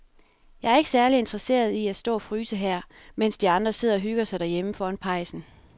Jeg er ikke særlig interesseret i at stå og fryse her, mens de andre sidder og hygger sig derhjemme foran pejsen.